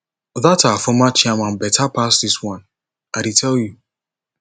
dat our former chairman beta pass dis one i dey tell you